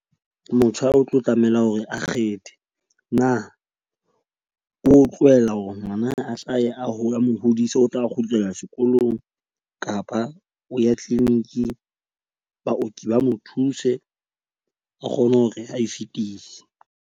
Motjha o tlo tlameha hore a kgethe. Na o tlohella hore ngwana a hlahe a ho le a mo hodise, o tla kgutlela sekolong. Kapa o ya clinic baoki ba mo thuse a kgone hore ae fitise.